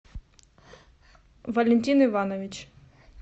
валентин иванович